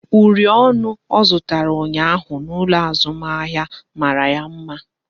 Uri ọnụ ọ zụtara ụnyaahụ n'ụlọ azụmahịa mara ya mma